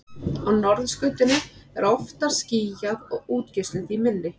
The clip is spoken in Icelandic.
á norðurskautinu er oftar skýjað og útgeislun því minni